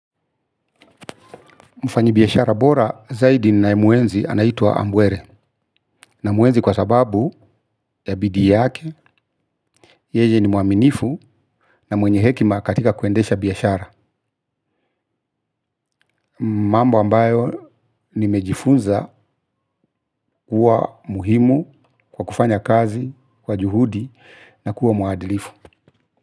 Mfanyibiashara bora ninaye muenzi anaitwa bwere. Namuenzi kwa sababu ya bidii yake yeye ni muaminifu na mwenye hekima katika kuendeleza biashara. Mambo ambayo nimejifunza huwa muhimu kwa kufanya kazi, kwa juhudi na kuwa muadilifu.